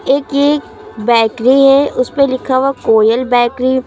एक ये बेकरी है उसपे लिखा हुआ कोयल बेकरी ।